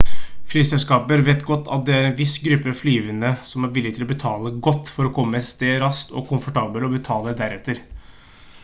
flyselskaper vet godt at det er en viss gruppe flyvende som er villige til å betale godt for å komme et sted raskt og komfortabelt og betale deretter